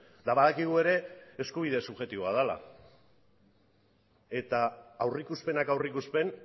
eta badakigu ere eskubide subjektiboa dela eta aurrikuspenak aurrikuspen